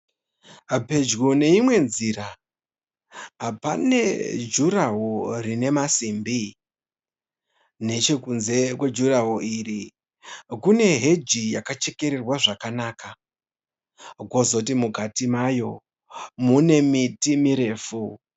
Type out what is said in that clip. Pedyo neimwe nzira, pane juraho rine masimbi. Nechekunze kwejurahoro iri kune heji yakachekererwa zvakanaka. Kwozoti mukati mayo mune miti mirefu.